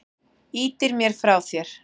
Ýtir mér frá þér.